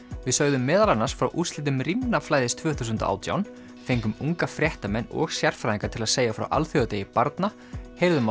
við sögðum meðal annars frá úrslitum tvö þúsund og átján fengum unga fréttamenn og sérfræðinga til að segja frá alþjóðadegi barna heyrðum